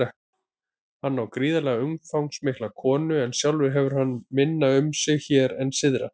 Hann á gríðarlega umfangsmikla konu en sjálfur hefur hann minna um sig hér en syðra.